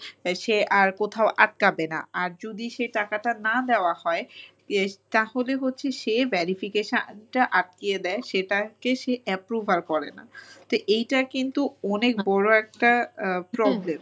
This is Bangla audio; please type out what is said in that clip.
সে আর কোথাও আটকাবে না। আর যদি সে টাকাটা না দেওয়া হয় তাহলে হচ্ছে সে verification টা আটকিয়ে দেয়, সেটাকে সে approve আর করে না। তো এইটা কিন্তু অনেক বড়ো একটা আহ problem।